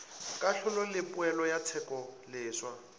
kahlolo le poelo ya tshekoleswa